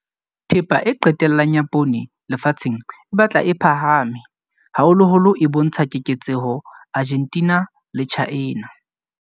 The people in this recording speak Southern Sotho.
Thepa e qetellang ya poone lefatsheng e batla e phahame, haholoholo e bontsha keketseho Argentina le China.